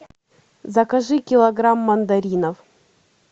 закажи килограмм мандаринов